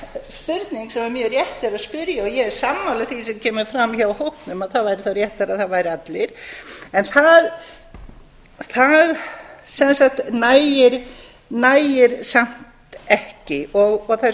spurning sem mjög rétt er að spyrja og ég er sammála því sem kemur fram hjá hópnum að það væri þá réttara að það væru allir en það sem sagt nægir samt ekki og þær